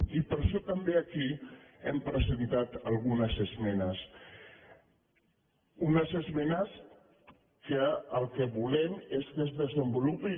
i per això tam·bé aquí hem presentat algunes esmenes unes esmenes que el que volem és que es desenvolupi